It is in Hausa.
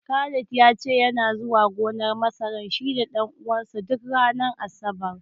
Khalid ya ce yana zuwa gonar masarar shi da ɗan uwansa duk ranar Asabar.